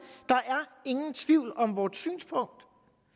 der er ingen tvivl om vort synspunkt